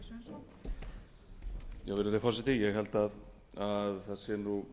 og kannski var ósanngjarnt af mér að spyrja út í þessi